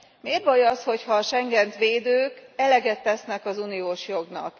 Miért baj az, hogyha a Schengent védők eleget tesznek az uniós jognak.